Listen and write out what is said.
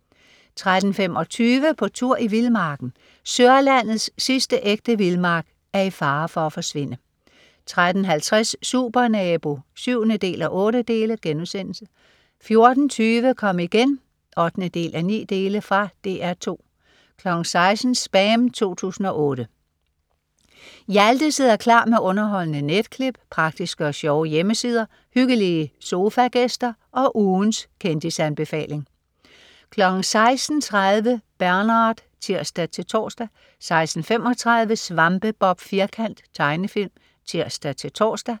13.25 På tur i vildmarken. Sørlandets sidste ægte vildmark er i fare for at forsvinde 13.50 Supernabo 7:8* 14.20 Kom igen 8:9. Fra DR 2 16.00 SPAM 2008. Hjalte sidder klar med underholdende netklip, praktiske og sjove hjemmesider, hyggelige sofagæster og ugens kendisanbefaling 16.30 Bernard (tirs-tors) 16.35 Svampebob Firkant. Tegnefilm (tirs-tors)